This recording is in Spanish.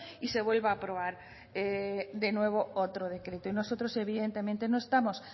y se vuelva a aprobar de nuevo otro decreto y nosotros evidentemente no estamos